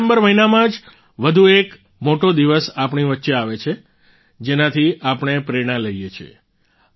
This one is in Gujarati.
ડિસેમ્બર મહિનામાં જ વધુ એક મોટો દિવસ આપણી વચ્ચે આવે છે જેનાથી આપણે પ્રેરણા લઈએ છીએ